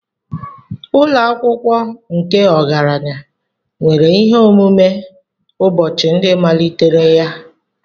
Ụlọ akwụkwọ nke ọgaranya nwere ihe omume ụbọchị ndị malitere ya.